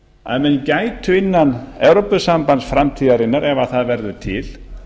að menn gætu innan evrópusambands framtíðarinnar ef það verður til